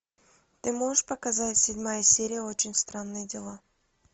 ты можешь показать седьмая серия очень странные дела